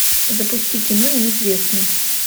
запусти кино неизвестный